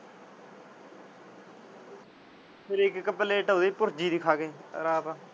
ਤੇ ਫਿਰ ਇੱਕ ਇੱਕ ਪਲੇਟ ਉਹਦੀ ਭੁਰਜੀ ਦੀ ਖਾ ਗਏ ਰਾਤ।